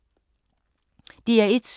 DR1